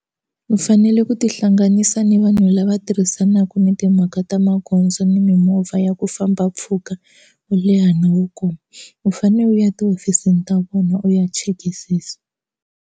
U fanele ku tihlanganisa ni vanhu lava tirhisanaka na timhaka ta magondzo ni mimovha ya ku famba mpfhuka wo leha na wo koma u fane u ya etihofisini ta vona u ya chekisisa.